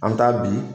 An bɛ taa bi